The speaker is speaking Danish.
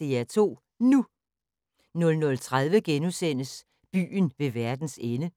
DR2 NU * 00:30: Byen ved verdens ende *